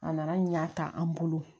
A nana ɲa ta an bolo